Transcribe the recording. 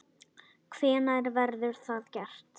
Hvenær verður það gert?